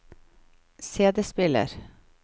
CD-spiller